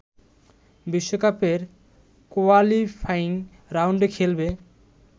বিশ্বকাপের কোয়ালিফাইং রাউন্ডে খেলবে